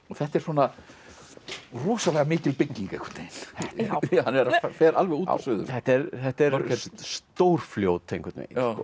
þetta er svona rosalega mikil bygging einhvern veginn hann fer alveg út og suður þetta er þetta er stórfljót einhvern